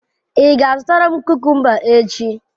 Ị ga-azụta kukumba echi?